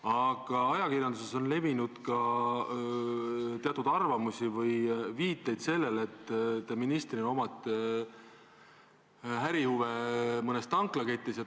Aga ajakirjanduses on olnud ka teatud viiteid sellele, et teil on ärihuve mõnes tanklaketis.